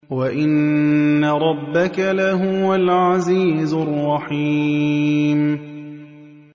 وَإِنَّ رَبَّكَ لَهُوَ الْعَزِيزُ الرَّحِيمُ